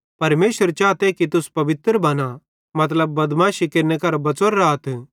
परमेशर चाते कि तुस पवित्र बना मतलब बदमाशी केरने केरहां बच़ोरे राथ